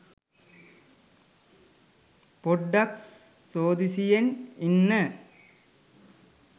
පොඩ්ඩක් සෝදිසියෙන් ඉන්න